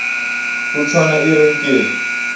ho tshwana e re nke